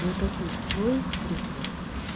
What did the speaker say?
накопи свой ресурс